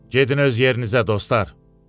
Gedin öz yerinizə, dostlar.